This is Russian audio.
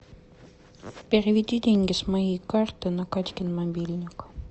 переведи деньги с моей карты на катькин мобильник